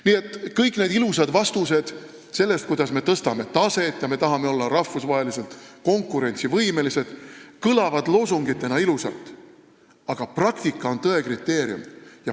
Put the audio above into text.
Nii et kõik need ilusad vastused, kuidas me tõstame taset ja tahame olla rahvusvaheliselt konkurentsivõimelised, kõlavad loosungitena ilusalt, aga praktika on tõe kriteerium.